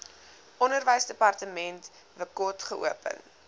onderwysdepartement wkod geopen